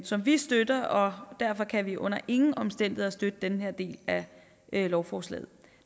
som vi støtter og derfor kan vi under ingen omstændigheder støtte den her del af lovforslaget